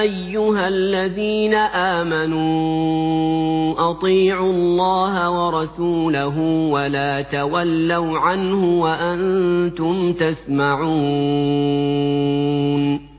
أَيُّهَا الَّذِينَ آمَنُوا أَطِيعُوا اللَّهَ وَرَسُولَهُ وَلَا تَوَلَّوْا عَنْهُ وَأَنتُمْ تَسْمَعُونَ